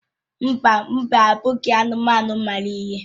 Mba, mbe abụghị anụmanụ mara ihe.